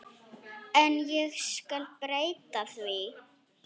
En ég skal breyta því.